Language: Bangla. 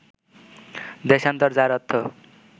দেশান্তর, যার অর্থ